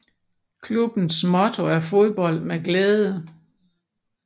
Klubbens motto er Fodbold med glæde